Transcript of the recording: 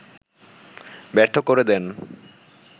ব্যর্থ করে দেন